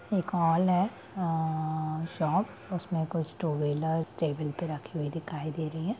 एक है अअअअ उसमें कुछ टू व्हीलर्स टेबल पे रखी हुई दिखाई दे रही है।